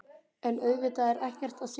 En auðvitað er ekkert að sjá.